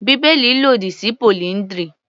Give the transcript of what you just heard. Bíbélì lòdì sí polyndry.